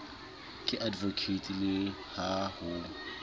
ke advocate le ha ho